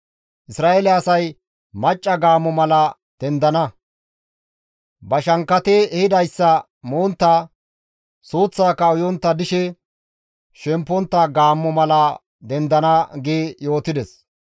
Isra7eele asay macca gaammo mala dendana; ba shankkati ehidayssa montta, suuththaaka uyontta dishe shempontta gaammo mala dendana» gi yootides.